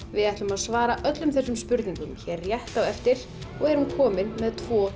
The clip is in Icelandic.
við ætlum að svara öllum þessum spurningum rétt á eftir og erum komin með tvo